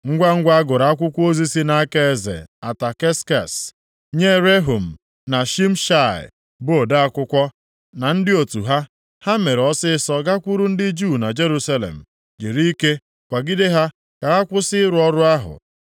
Ngwangwa a gụrụ akwụkwọ ozi si nʼaka eze Ataksekses, nye Rehum na Shimshai bụ ode akwụkwọ, na ndị otu ha, ha mere ọsịịsọ gakwuru ndị Juu na Jerusalem jiri ike kwagide ha ka ha kwụsị ịrụ ọrụ ahụ.